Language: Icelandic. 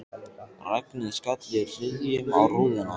Regnið skall í hryðjum á rúðuna.